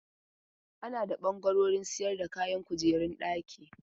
Ana da ɓangaren sayar da kayan kujerun daki.